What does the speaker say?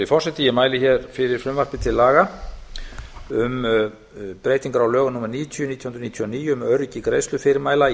virðulegi forseti ég mæli hér fyrir frumvarpi til laga um breytingar á lögum númer níutíu nítján hundruð níutíu og níu um öryggi greiðslufyrirmæla í